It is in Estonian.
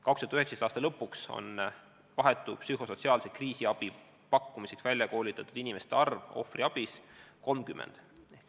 2019. aasta lõpuks on vahetu psühhosotsiaalse kriisiabi pakkumiseks ohvriabis välja koolitatud 30 inimest.